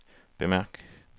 bemærk